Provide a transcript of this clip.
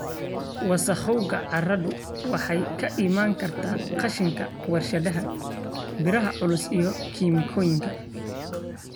Wasakhowga carradu waxay ka iman kartaa qashinka warshadaha, biraha culus iyo kiimikooyinka.